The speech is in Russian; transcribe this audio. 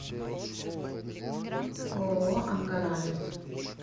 ооо ангаралес